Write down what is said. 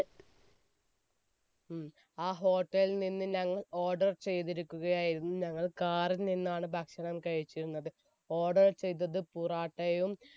ഉം ആ hotel ൽ നിന്നും ഞങ്ങൾ order ചെയ്തിരിക്കുകയായിരുന്നു. ഞങ്ങൾ car ൽ നിന്നാണ് ഭക്ഷണം കഴിച്ചിരുന്നത്, order ചെയ്തത് പൊറോട്ടയും